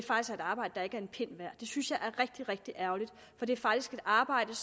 synes jeg er rigtig rigtig ærgerligt for det er faktisk et arbejde